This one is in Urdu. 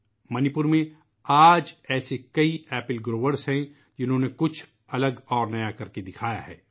منی پور میں آج ایسے کئی سیب پیدا کرنے والے ہیں ، جنہوں نے کچھ الگ اور نیا کرکے دکھایا ہے